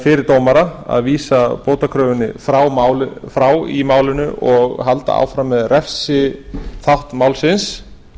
fyrir dómara að vísa bótakröfunni frá í málinu og halda áfram með refsiþátt málsins